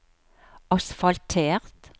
asfaltert